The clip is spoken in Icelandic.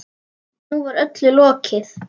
Nú var öllu lokið.